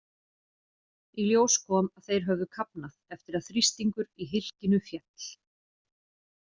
Í ljós kom að þeir höfðu kafnað eftir að þrýstingur í hylkinu féll.